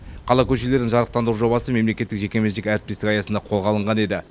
қала көшелерін жарықтандыру жобасы мемлекеттік жекеменшік әріптестік аясында қолға алынған еді